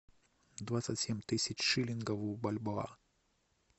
двадцать семь тысяч шиллингов в бальбоа